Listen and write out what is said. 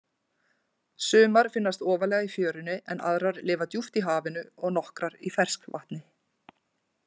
Sumar finnast ofarlega í fjörunni en aðrar lifa djúpt í hafinu og nokkrar í ferskvatni.